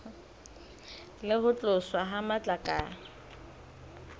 le ho tloswa ha matlakala